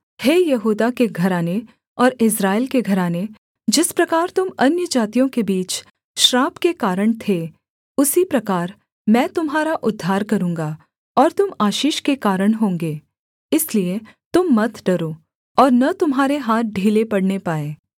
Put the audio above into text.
हे यहूदा के घराने और इस्राएल के घराने जिस प्रकार तुम अन्यजातियों के बीच श्राप के कारण थे उसी प्रकार मैं तुम्हारा उद्धार करूँगा और तुम आशीष के कारण होंगे इसलिए तुम मत डरो और न तुम्हारे हाथ ढीले पड़ने पाएँ